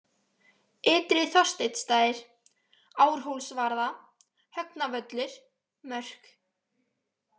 Ytri-Þorsteinsstaðir, Árhólsvarða, Högnavöllur, Mörk